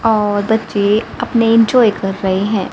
और बच्चे अपने एंजॉय कर रहे हैं।